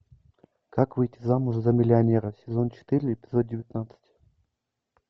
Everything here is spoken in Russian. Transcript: как выйти замуж за миллионера сезон четыре эпизод девятнадцать